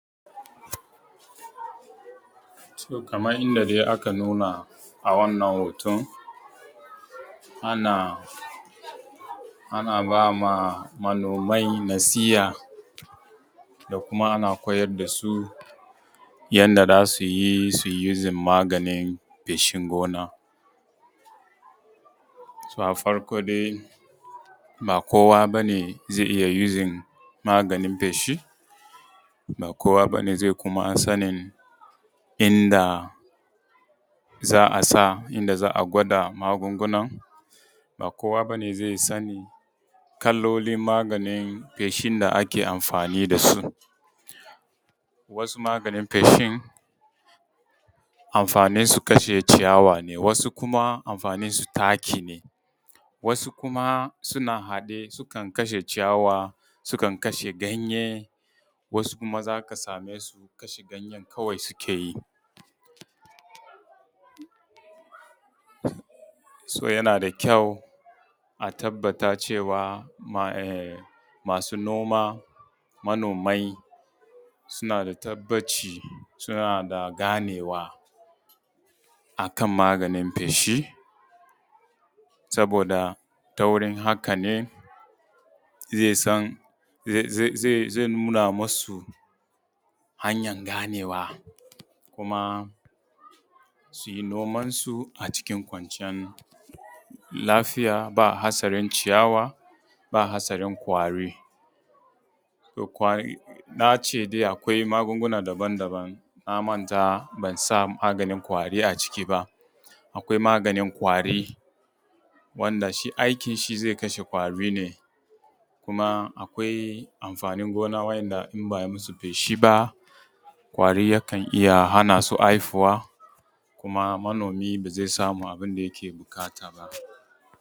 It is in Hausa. To kaman yanda dai aka nuna a wannan hoton ana ba ma manomai nasiha da kuma ana koyar da su yanda za su yi, su yi using maganin feshin gona. So a farko dai ba kowa ba ne zai iya using maganin feshi, ba kowa ba ne zai kuma sanin inda za a sa a gwada magungunan, ba kowa bane zai sani kalolin maganin feshin da ake amfani da su. Wasu maganin feshin amfanin su kashe ciyawa ne, wasu kuma amfanin su taki ne, wasu kuma suna haɗe sukan kashe ciyawa, sukan kashe ganye wasu kuma za ka same su kashe ganyen kawai suke yi. So yana da kyau a tabbata cewa masu noma mamomai suna da tabbaci suna da ganewa akan maganin feshi, saboda ta wurin haka ne zai nuna musu hanyan ganewa kuma suyi noman su cikin kwanciyan lafiya ba hatsarin ciyawa, ba hatsarin ƙwari. Na ce dai akwai magunguna daban daban na manta ban sa maganin ƙwari a ciki ba, akwai maganin ƙwari wanda shi aikin shi zai kashe ƙwari ne, kuma akwai amfanin gonan wa’inda in ba ai musu feshi ba ƙwari yakan iya hana su haihuwa, kuma manomi ba zai samu abin da yake buƙata ba.